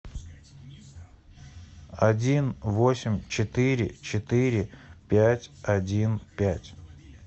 один восемь четыре четыре пять один пять